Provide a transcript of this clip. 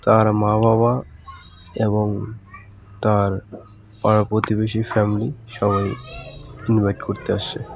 তার মা বাবা এবং তার পাড়া প্রতিবেশী ফ্যামিলি সবাই ইনভাইট করতে আসছে ।